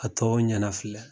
A tɔ ɲana filɛ.